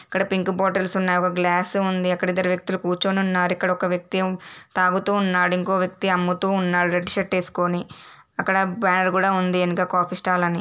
ఇక్కడ pink bottles ఉన్నాయి. ఒక గ్లాస్ ఉంది. అక్కడ ఇద్దరు వ్యక్తులు కూర్చుని ఉన్నారు. ఇక్కడ ఒక వ్యక్తి ఏమో తాగుతూ ఉన్నాడు. ఇంకో వ్యక్తి అమ్ముతూ ఉన్నాడు రెడ్ షర్ట్ వేసుకుని. అక్కడ బ్యానర్ కూడా ఉంది వెనుక కాఫీ స్టాల్ అని.